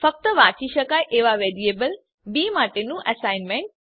ફક્ત વાંચી શકાય એવાં વેરીએબલ બી માટેનું એસાઈનમેંટ